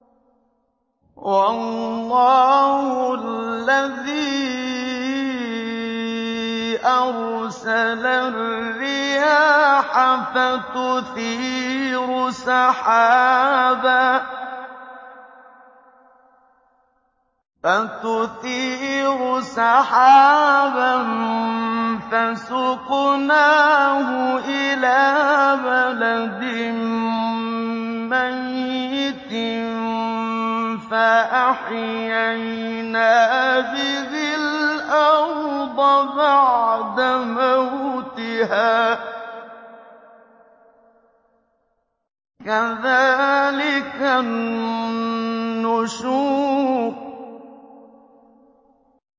وَاللَّهُ الَّذِي أَرْسَلَ الرِّيَاحَ فَتُثِيرُ سَحَابًا فَسُقْنَاهُ إِلَىٰ بَلَدٍ مَّيِّتٍ فَأَحْيَيْنَا بِهِ الْأَرْضَ بَعْدَ مَوْتِهَا ۚ كَذَٰلِكَ النُّشُورُ